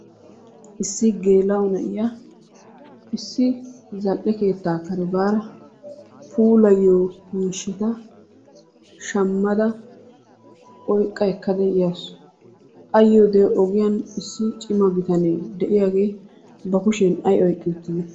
lssi geela'o na'iya issi zal'e keettaa kare baada puulayiya miishshata shamada oyqqa ekkada yawusu. A yiyoode ogiyan issi cima bitanee ba kushiyaan ay oyqi uttide?